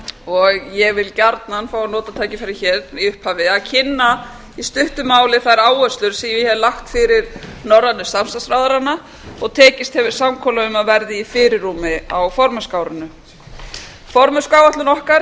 og ég vil gjarnan fá að nota tækifærið hér í upphafi að kynna í stuttu máli þær áherslur sem ég hef lagt fyrir norrænu samstarfsráðherrana og tekist hefur samkomulag um að verði í fyrirrúmi á formennskuárinu hæstvirtur forsætisráðherra